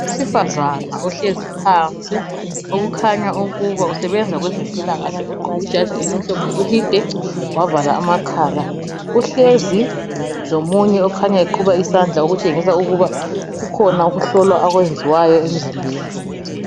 Owesifazane ohlezi phansi okukhanya ukuba usebenza kwezempilakahle ogqoke ijazi elimhlophe elide wavala amakhala. Uhlezi lomunye okhanya eqhuba isandla okutshengisa ukuba kukhona ukuhlolwa akwenziwayo emzimbeni.